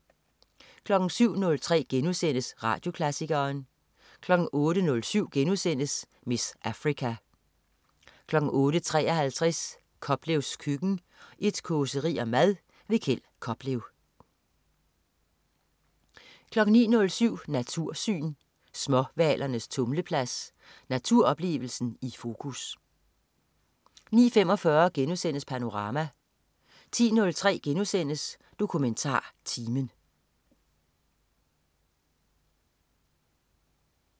07.03 Radioklassikeren* 08.07 "Miss Africa"* 08.53 Koplevs køkken. Et causeri om mad. Kjeld Koplev 09.07 Natursyn. Småhvalernes tumleplads. Naturoplevelsen i fokus 09.45 Panorama* 10.03 DokumentarTimen*